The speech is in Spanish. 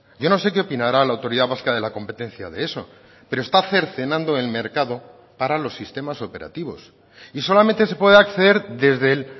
yo no sé qué opinará la autoridad vasca de la competencia de eso pero esta cercenando el mercado para los sistemas operativos y solamente se puede acceder desde el